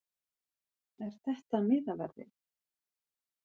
Er þetta miðaverðið?